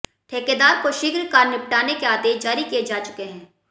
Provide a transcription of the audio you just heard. ठेकेदार को शीघ्र कार्य निपटाने के आदेश जारी किए जा चुके हैं